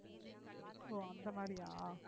ஓ அந்த மாதிரியா